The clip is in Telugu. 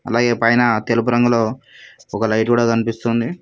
అలాగే పైన తెలుపు రంగులో ఒక లైట్ కూడా కనిపిస్తుంది.